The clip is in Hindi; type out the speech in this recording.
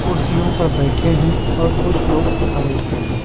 कुर्सियों पर बैठे हैं और कुछ लोग खड़े हैं।